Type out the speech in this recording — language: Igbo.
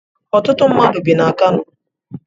Ọtụtụ mmadụ bi na Kano